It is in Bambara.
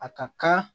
A ka kan